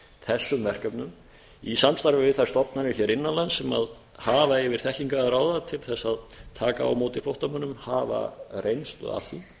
þessum verkefnum í samstarfi við þær stofnanir hér innan lands sem hafa yfir þekkingu að ráða til að taka á móti flóttamönnum hafa reynslu af því